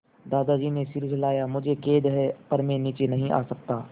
दादाजी ने सिर हिलाया मुझे खेद है पर मैं नीचे नहीं आ सकता